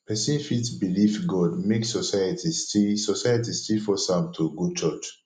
pesin fit belief god make society still society still force am to go church